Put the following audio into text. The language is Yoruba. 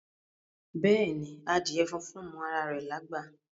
Beeni, adíè fúnfún mọ ara rè lágbá.